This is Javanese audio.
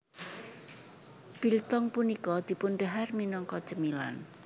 Biltong punika dipundhahar minangka cemilan